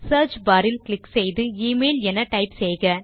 search bar இல் click செய்து email என டைப் செய்க